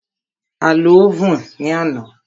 A lo óvùn ní àná.